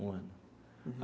Um ano.